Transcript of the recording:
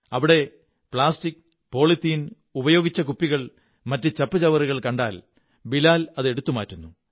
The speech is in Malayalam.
അവിടെ പ്ലാസ്റ്റിക് പോളിത്തീൻ ഉപയോഗിച്ച കുപ്പികൾ മറ്റു ചപ്പുചവറുകൾ എന്നിവ കണ്ടാൽ ബിലാൽ അത് എടുത്തു മാറ്റുന്നു